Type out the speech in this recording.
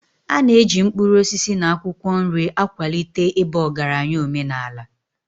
A na-eji mkpụrụ osisi na akwụkwọ nri akwalite ịba ọgaranya omenala.